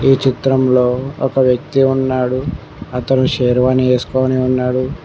ఈ చిత్రంలో ఒక వ్యక్తి ఉన్నాడు అతను శేర్వాణి ఏసుకొని ఉన్నాడు.